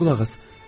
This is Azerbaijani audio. qulaq as.